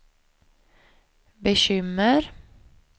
bekymmer